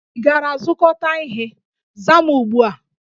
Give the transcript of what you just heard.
Ị gara zụkọta ihe? Zaa m ugbu a!